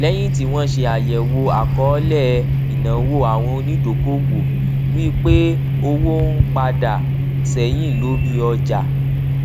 léyìn tí wọn ṣe àyẹwò àkọọlẹ ináwó àwọn onídokòòwò rí pé owó ń padà sẹyìn lórí ọjà